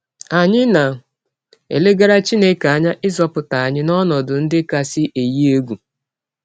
Anyị na - elegara Chineke anya ịzọpụta anyị n’ọnọdụ ndị kasị eyi egwụ.